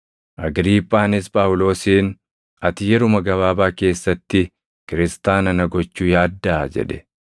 Agriiphaanis Phaawulosiin, “Ati yeruma gabaabaa keessatti Kiristaana na gochuu yaaddaa?” jedhe.